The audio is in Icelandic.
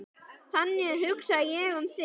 Þannig hugsaði ég um þig.